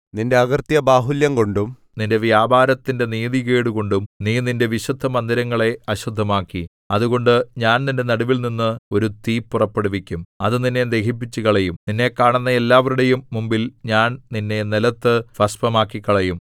നിന്റെ അകൃത്യബാഹുല്യംകൊണ്ടും നിന്റെ വ്യാപാരത്തിന്റെ നീതികേടുകൊണ്ടും നീ നിന്റെ വിശുദ്ധമന്ദിരങ്ങളെ അശുദ്ധമാക്കി അതുകൊണ്ട് ഞാൻ നിന്റെ നടുവിൽനിന്ന് ഒരു തീ പുറപ്പെടുവിക്കും അത് നിന്നെ ദഹിപ്പിച്ചുകളയും നിന്നെ കാണുന്ന എല്ലാവരുടെയും മുമ്പിൽ ഞാൻ നിന്നെ നിലത്തു ഭസ്മമാക്കിക്കളയും